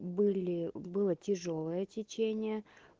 были было тяжёлое течение